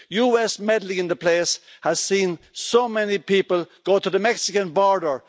US meddling in the place has seen so many people go to the Mexican border.